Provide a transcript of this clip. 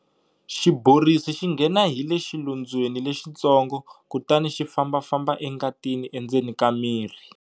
Xiborisi xi nghena hi le xilondzweni lexitsongo kutani xi fambafamba engatini endzeni ka mirhi.